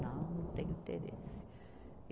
Não, não tenho interesse.